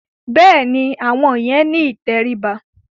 Bẹ́ẹ̀ni, àwọn yẹn ni ìtẹríba.